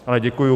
Ale děkuju.